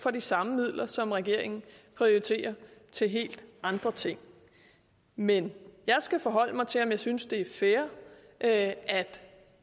for de samme midler som regeringen prioriterer til helt andre ting men jeg skal forholde mig til om jeg synes det er fair at